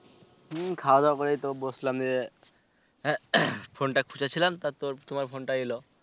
হম খাওয়া দাওয়া করে তো বসলাম রে phon টা খুজেছিলাম তো তোর তোমার phon টা এলো